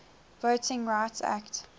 voting rights act